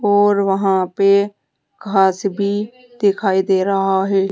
और वहां पे घास भी दिखाई दे रहा है।